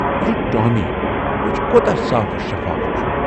یہِ چھُ 'ٹامی'، وُچھ کوٗتاہ صاف شفاف چھُ۔